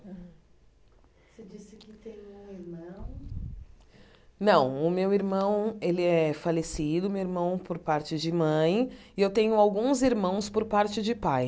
Você disse que tem um irmão... Não, o meu irmão, ele é falecido, meu irmão por parte de mãe, e eu tenho alguns irmãos por parte de pai.